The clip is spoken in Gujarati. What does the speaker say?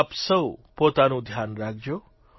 આપ સૌ પોતાનું ધ્યાન રાખજો